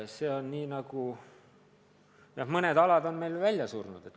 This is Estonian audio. Jah, mõned sama kuulsusrikkad alad on meil välja surnud.